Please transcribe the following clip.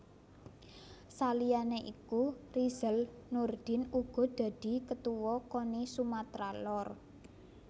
Saliyane iku Rizal Nurdin uga dadi Ketuwa Koni Sumatra Lor